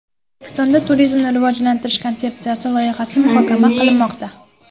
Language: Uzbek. O‘zbekistonda Turizmni rivojlantirish konsepsiyasi loyihasi muhokama qilinmoqda.